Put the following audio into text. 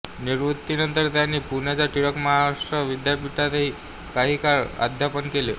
निवृत्तीनंतर त्यांनी पुण्याच्या टिळक महाराष्ट्र विद्यापीठातही काही काळ अध्यापन केले